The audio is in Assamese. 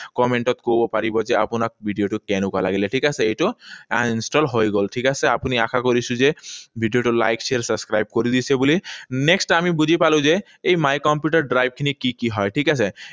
Comment ত কব পাৰিব যে আপোনাক ভিডিঅটো কেনেকুৱা লাগিলে, ঠিক আছে? এইটো uninstalled হৈ গল, ঠিক আছে? আপুনি আশা কৰিছো যে ভিডিঅটো like, share, subscribe কৰি দিছে বুলি। Next আমি বুজি পালো যে এই my computer ৰ drive খিনি কি কি হয়। ঠিক আছে?